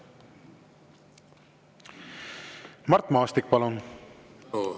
Mart Maastik, palun!